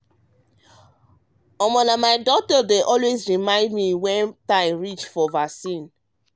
um my um doctor dey always um remind me when time reach for vaccine.